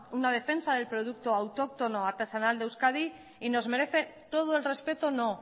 una defensa del producto autóctono artesanal de euskadi y nos merece todo el respeto no